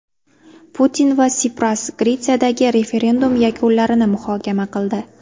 Putin va Sipras Gretsiyadagi referendum yakunlarini muhokama qildi.